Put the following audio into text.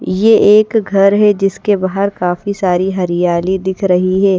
ये एक घर है जिसके बाहर काफी सारी हरियाली दिख रही है।